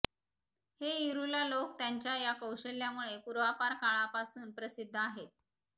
हे इरूला लोक त्यांच्या या कौशल्यामुळे पूर्वापार काळापासून प्रसिद्ध आहेत